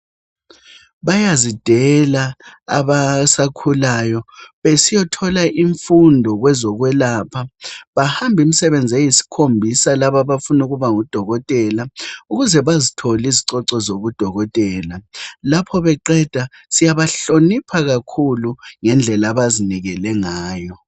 Bayazidela abasakhulayo besiyathola imfundo wezokwelapha. Bahamba iminyaka eyisikhombisa laba abafuna ukuba ngodokotela ukuze bazithole izicoco labo abafuna ukuba ngodokoteka .Lapho beqeda siyabahlonipha ngendlela abazinikele ngayo.